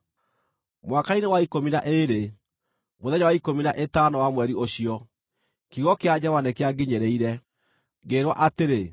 Mwaka-inĩ wa ikũmi na ĩĩrĩ, mũthenya wa ikũmi na ĩtano wa mweri ũcio, kiugo kĩa Jehova nĩkĩanginyĩrĩire, ngĩĩrwo atĩrĩ: